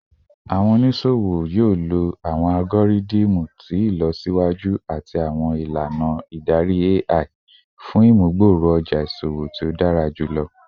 Awọn oniṣowo yoo lo awọn algoridimu ti ilọsiwaju ati awọn ilana idari AI fun imugboroja iṣowo ti o dara julọ